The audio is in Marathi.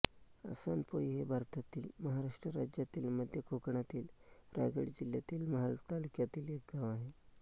आसनपोई हे भारतातील महाराष्ट्र राज्यातील मध्य कोकणातील रायगड जिल्ह्यातील महाड तालुक्यातील एक गाव आहे